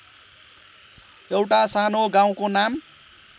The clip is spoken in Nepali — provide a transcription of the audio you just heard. एउटा सानो गाउँको नाम